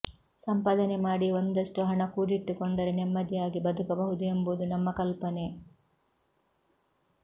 ಸಂಪಾದನೆ ಮಾಡಿ ಒಂದಷ್ಟು ಹಣ ಕೂಡಿಟ್ಟುಕೊಂಡರೆ ನೆಮ್ಮದಿಯಾಗಿ ಬದುಕಬಹುದು ಎಂಬುದು ನಮ್ಮ ಕಲ್ಪನೆ